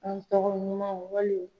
An tɔgɔ ɲuman wali